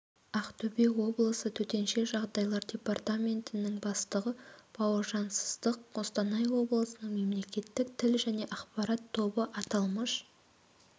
ақтөбе облысы төтенше жағдайлар департаментінің бастығы бауыржан сыздықов қостанай облысының мемлекеттік тіл және ақпарат тобы аталмыш